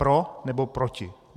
Pro, nebo proti?